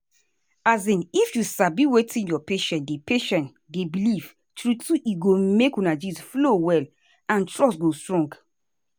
as in if you sabi wetin your patient dey patient dey believe true true e go make una gist flow well and trust go strong.